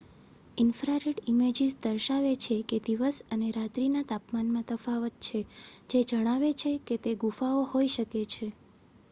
infrared images દર્શાવે છે કે દિવસ અને રાત્રી ના તાપમાનમાં તફાવત છે જે જણાવે છે કે તે ગુફાઓ હોય શકે છે